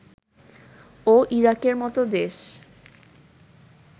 ও ইরাকের মতো দেশ